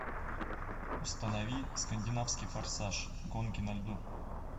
установи скандинавский форсаж гонки на льду